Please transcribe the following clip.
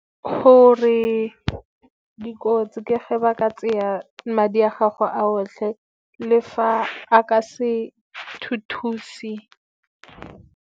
Gore dikotsi ke ge ba ka tseya madi a gago a otlhe, le fa a ka se thuse.